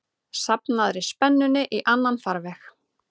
safnaðri spennunni í annan farveg.